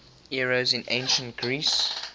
eros in ancient greece